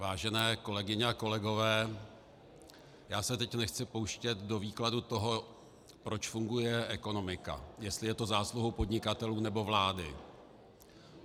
Vážené kolegyně a kolegové, já se teď nechci pouštět do výkladu toho, proč funguje ekonomika, jestli je to zásluhou podnikatelů nebo vlády.